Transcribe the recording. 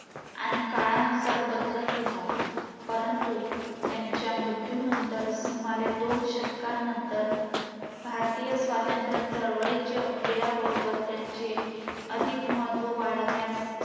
आणि काळानुसार बदलत होता. परंतु त्यांच्या मृत्यूनंतर सुमारे दोन शतकानानंतर, भारतीय चळवळीच्या उदय स्वातंत्र बरोबर त्यांचे अधिक महत्व वाढण्यास